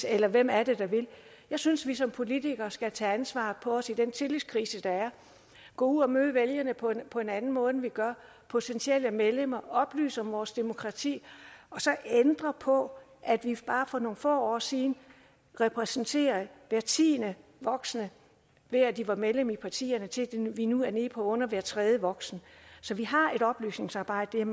eller hvem er det der vil jeg synes vi som politikere skal tage ansvaret på os i den tillidskrise der er gå ud og møde vælgerne på på en anden måde end vi gør potentielle medlemmer oplyse om vores demokrati og så ændre på at vi bare for nogle få år siden repræsenterede hver tiende voksne ved at de var medlemmer af partierne til at vi nu er nede på under hver tredje voksne så vi har et oplysningsarbejde det er